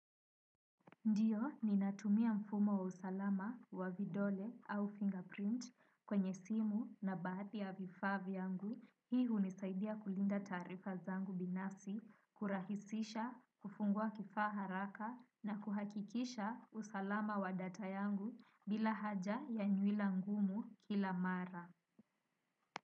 Ndiyo ninatumia mfumo wa usalama wa vidole au fingerprint kwenye simu na ba ya vifaa vyangu. Hii hunisaidia kulinda taarifa zangu binafsi, kurahisisha, kufungua kifaa haraka na kuhakikisha usalama wa data yangu bila haja ya nywila ngumu kila mara.